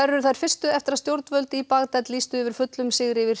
eru þær fyrstu eftir að stjórnvöld í Bagdad lýstu yfir fullum sigri yfir